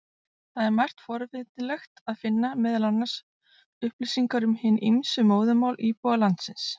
Þar er margt forvitnilegt að finna, meðal annars upplýsingar um hin ýmsu móðurmál íbúa landsins.